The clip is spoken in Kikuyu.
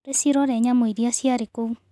Rĩcirore nyamũ iria ciarĩ kũu.